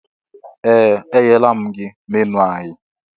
Ee! Enyela m gị menu anyị.